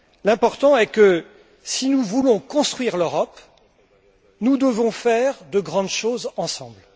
L'important, c'est que, si nous voulons construire l'Europe, nous devons faire de grandes choses ensemble.